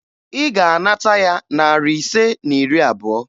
Ị ga-anata ya narị ise na iri abụọ!